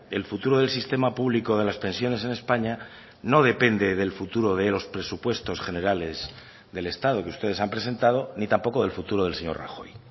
el futuro del sistema público de las pensiones en españa no depende del futuro de los presupuestos generales del estado que ustedes han presentado ni tampoco del futuro del señor rajoy